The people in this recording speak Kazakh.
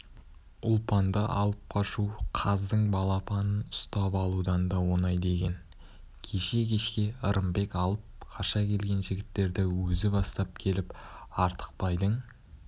ұлпанды алып қашу қаздың балапанын ұстап алудан да оңай деген кеше кешке ырымбек алып қаша келген жігіттерді өзі бастап келіп артықбайдың